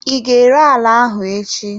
I ga-ere ala ahụ echi?